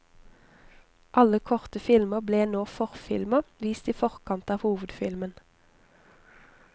Alle korte filmer ble nå forfilmer, vist i forkant av hovedfilmen.